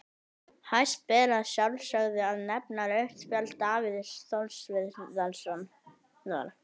Hæst ber að sjálfsögðu að nefna rautt spjald Davíðs Þórs Viðarssonar.